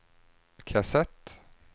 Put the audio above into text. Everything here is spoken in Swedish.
kassett